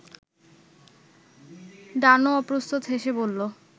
ডানো অপ্রস্তুত হেসে বসল